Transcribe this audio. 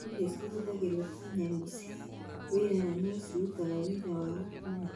Ndigiri nĩ cihũthagĩrwo ta nyamũ cia wĩra na no cirutaga wĩra wa gũkuua.